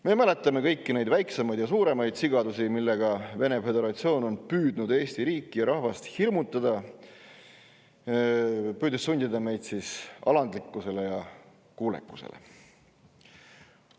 Me mäletame kõiki neid väiksemaid ja suuremaid sigadusi, millega Vene föderatsioon on püüdnud Eesti riiki ja rahvast hirmutada, püüdes sundida meid alandlikkusele ja kuulekusele.